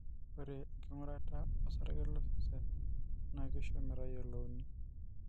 ore enking'urata o sarge losesen naa kisho metayiolouni.